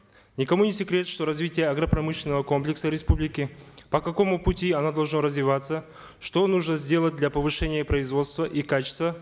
никому не секрет что развитие агропромышленного комплекса республики по какому пути оно должно развиваться что нужно сделать для повышения производства и качества